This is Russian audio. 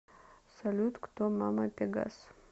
салют кто мама пегас